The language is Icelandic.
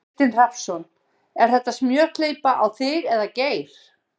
Kristinn Hrafnsson: Er þetta smjörklípa á þig eða Geir?